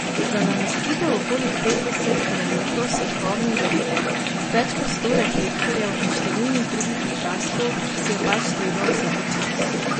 Za namestitev okoli petdeset kilometrov svetlobnih verig, več kot sto reflektorjev in številnih drugih okraskov si je pač treba vzeti čas.